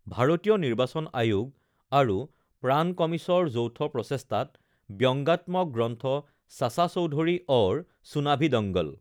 ভাৰতীয় নিৰ্বাচন আয়োগ আৰু প্ৰাণ কমিছৰ যৌথ প্ৰচেষ্টাত ব্যংগাত্মক গ্ৰন্থ চাচা চৌধুৰী ঔৰ চুনাভি দংগল